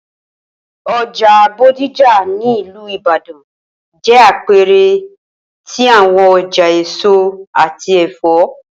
Oja Bodija ni Ilu Ibadan, jẹ apẹẹrẹ ti awọn ọja eso ati ẹfọ.